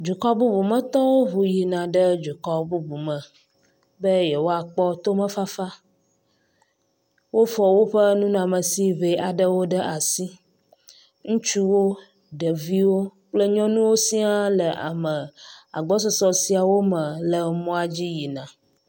Dukɔ bubumetɔwo ŋu yina ɖe dukɔ bubu me be yewoakpɔ tomefafa. Wofɔ woƒe nunɔmesi ŋee aɖewo ɖe asi. Ŋutsuwo, ɖeviwo kple nyɔnuwo sia le ame agbɔsɔsɔ siawo me le mɔa dzi yina.